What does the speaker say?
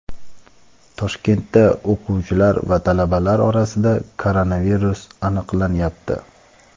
Toshkentda o‘quvchilar va talabalar orasida koronavirus aniqlanyapti.